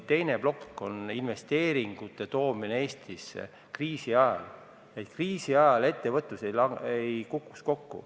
Teine plokk on investeeringute toomine Eestisse, et kriisi ajal ettevõtlus kokku ei kukuks.